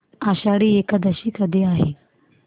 आषाढी एकादशी कधी आहे